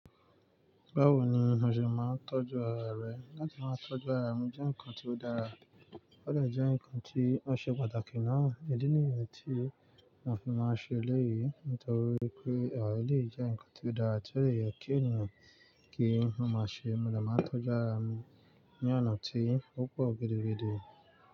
Báwo ni o ṣe máa ń tọ́jú ara rẹ? Láti máa tọ́jú ara mi jẹ́ nǹkan tí ó dára, ó de jẹ́ nǹkan tí ó ṣe pàtàkì náà. Ìdí ni yẹn m tí mo fi máa ṣe eléyìí nítorí pé ara lè jẹ́ nǹkan tí ó dára, tí ó si yẹ kí ènìyàn kí ó máa ṣe. Mo dà máa ń tọ́jú ara mi ní ọ̀nà tí ó pọ̀ gidigidi.